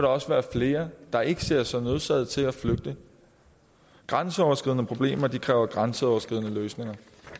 også være flere der ikke ser sig nødsaget til at flygte grænseoverskridende problemer kræver grænseoverskridende løsninger